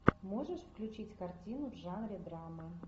можешь включить картину в жанре драмы